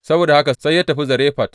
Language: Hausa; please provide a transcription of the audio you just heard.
Saboda haka sai ya tafi Zarefat.